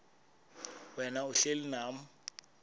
wena uhlel unam